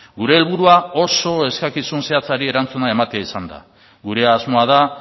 gure helburua oso eskakizun zehatzari erantzuna ematea izan da gure asmoa da